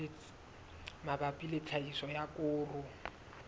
mabapi le tlhahiso ya koro